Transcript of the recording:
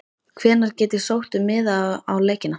Hvenær get ég sótt um miða á leikina?